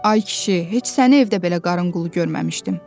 Ay kişi, heç səni evdə belə qarən qulu görməmişdim.